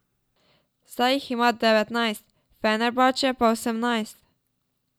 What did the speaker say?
Zdaj jih ima devetnajst, Fenerbahče pa osemnajst.